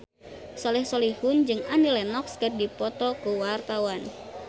Soleh Solihun jeung Annie Lenox keur dipoto ku wartawan